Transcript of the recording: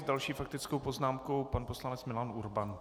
S další faktickou poznámkou pan poslanec Milan Urban.